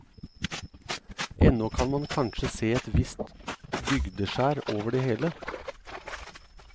Ennå kan man kanskje se et visst bygdeskjær over det hele.